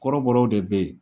Kɔrɔbɔrɔw de be ye